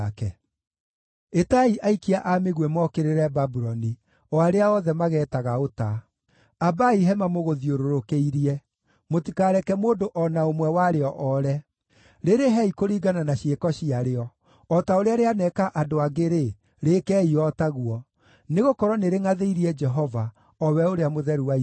“Ĩtai aikia a mĩguĩ mokĩrĩre Babuloni, o arĩa othe mageetaga ũta. Ambaai hema mũgũthiũrũrũkĩirie; mũtikareke mũndũ o na ũmwe warĩo oore. Rĩrĩhei kũringana na ciĩko ciarĩo; o ta ũrĩa rĩaneeka andũ angĩ-rĩ, rĩĩkei o ta guo. Nĩgũkorwo nĩrĩngʼathĩirie Jehova, o we Ũrĩa Mũtheru wa Isiraeli.